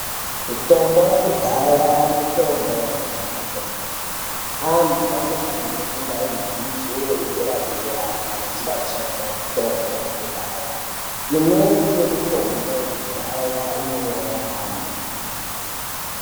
Mitombo yakudhaya mitombo yakanaka kwemene. Antu anofanire kunga aine dzidzo yedera-dera, kana achida kushandisa mitombo yakudhaya. Imweni yemitombo yakudhaya inouraya antu.